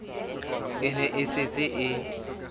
e ne e setse e